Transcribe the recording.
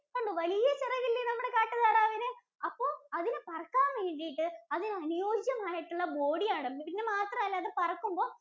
കണ്ടോ? വലിയ ചിറകല്ലേ നമ്മുടെ കാട്ടുതാറാവിന്. അപ്പോ അതിന് പറക്കാന്‍വേണ്ടിട്ട് അതിനനുയോജ്യമായിട്ടുള്ള body യാണ്. പിന്നെ അത് മാത്രമല്ല അത് പറക്കുമ്പോ